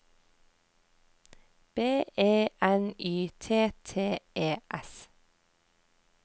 B E N Y T T E S